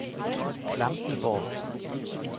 Klampenborg